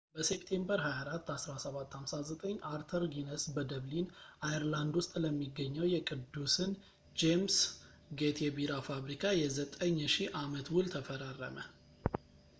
በሴፕቴምበር 24 1759 አርተር ጊነስ በደብሊን አየርላንድ ውስጥ ለሚገኘው የቅዱስን ጄምስ ጌት የቢራ ፋብሪካ የ9,000 አመት ውል ተፈራረመ